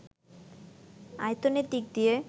আয়তনের দিক দিয়ে